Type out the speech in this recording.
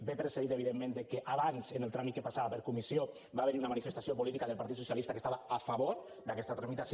ve precedit evidentment de que abans en el tràmit que passava per comissió va haver hi una manifestació política del partit socialista que estava a favor d’aquesta tramitació